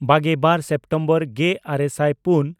ᱵᱟᱜᱮᱼᱵᱟᱨ September ᱜᱮᱼᱟᱨᱮ ᱥᱟᱭ ᱯᱩᱱ